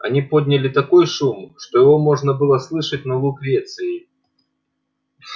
они подняли такой шум что его можно было слышать на лукреции